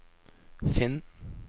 finn